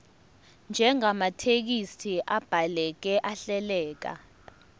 njengamathekisthi abhaleke ahleleka